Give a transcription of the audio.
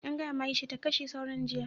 An gaya ma Aisha ta kashe sauron jiya.